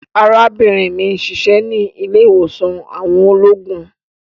Arabinrin mi n ṣiṣẹ ni ile-iwosan àwọn ologun